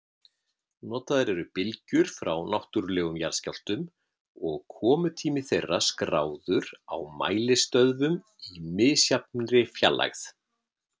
Notaðar eru bylgjur frá náttúrlegum jarðskjálftum og komutími þeirra skráður á mælistöðvum í misjafnri fjarlægð.